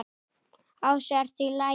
Ási: ERTU Í LAGI?